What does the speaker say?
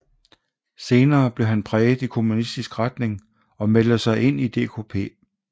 Senere blev han præget i kommunistisk retning og meldte sig ind i DKP